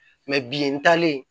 bi n talen